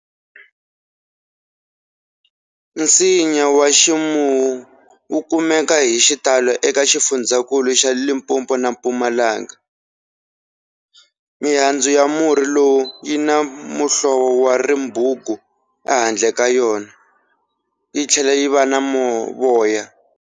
Nsinya wa Ximuwu wu kumeka hi xitalo eka xifundzankulu xa Limpopo na Mpumalanga. Mihandzu ya murhi lowu yi na muhlovo wa ribungu ehandle ka yona, yi tlhela yi va na voya.